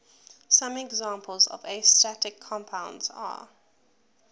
some examples of astatic compounds are